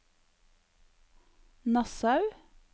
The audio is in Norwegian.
Nassau